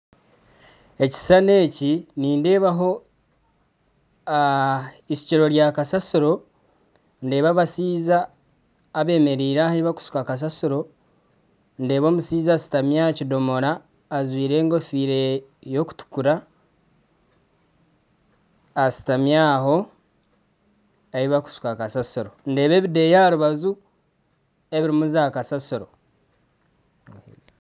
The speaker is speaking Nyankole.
Ekishushani eki nindeebaho ishukiro rya kasaasiro, ndeeba abashaija abemeereire aha ahi barikushuka kasaasiro, ndeeba omushaija ashutami aha kidomora ajwire enkofiira erikutukura ashutami aho ahu barikushuka kasaasiro ndeeba ebideeya aha rubaju ebirimu z'akasaasiro